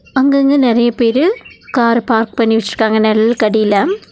அங்கங்க நெறைய பேரு கார பார்க் பண்ணி விட்ருக்காங் நெழல்க்கடில.